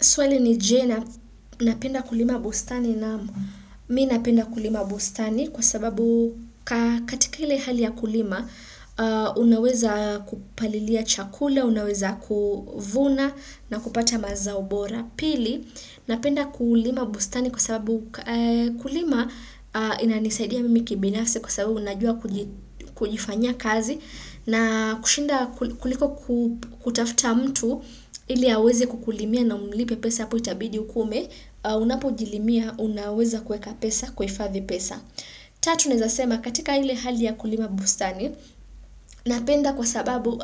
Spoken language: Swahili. Swali ni je, napenda kulima bustani na mimi napenda kulima bustani kwa sababu katika ile hali ya kulima, unaweza kupalilia chakula, unaweza kuvuna na kupata mazao bora. Pili, napenda kulima bustani kwa sababu kulima ina nisaidia mimi kibinafsi kwa sababu najua kujifanyia kazi na kushinda kuliko kutafuta mtu ili aweze kukulimia na umlipe pesa hapo itabidi ukuwe ume, unapo jilimia unaweza kuweka pesa kuhifadhi pesa. Tatu nawezasema katika ile hali ya kulima bustani ninapenda kwa sababu